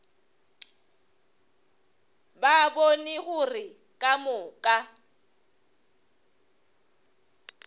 ba bone gore ka moka